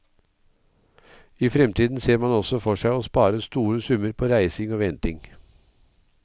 I fremtiden ser man også for seg å spare store summer på reising og venting.